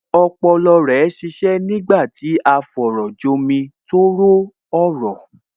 Ọpọlọ rẹ ń ṣiṣẹ́ nígbà tí à ń fọ̀rọ̀jomi-tooro-ọ̀rọ̀